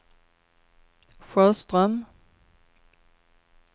Sjöström